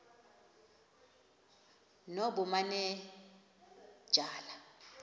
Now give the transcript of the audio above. nobumanejala